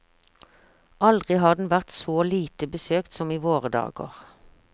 Aldri har den vært så lite besøkt som i våre dager.